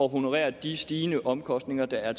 honorere de stigende omkostninger der er